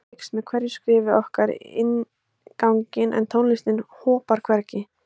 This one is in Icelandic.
Myrkrið eykst með hverju skrefi okkar inn ganginn en tónlistin hopar hvergi.